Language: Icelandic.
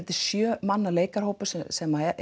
sjö manna hópur sem